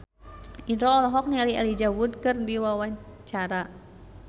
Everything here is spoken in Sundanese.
Indro olohok ningali Elijah Wood keur diwawancara